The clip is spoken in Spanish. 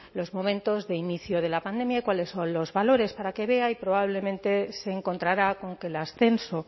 los momentos de inicio de la pandemia y cuáles son los valores para que vea y probablemente se encontrará con que el ascenso